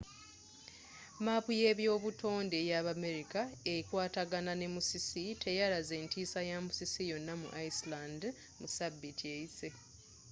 maapu yebyobutonde eyabamerika ekwataagana ne musisi teyalaze ntiisa ya musisi yonna mu iceland mu sabiiti eyise